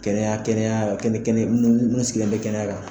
Kɛnɛya kɛnɛya kɛnɛ kɛnɛ munnu sigilen bɛ kɛnɛya kan